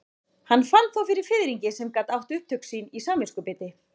Hann fann þó fyrir fiðringi sem gat átt upptök sín í samviskubiti.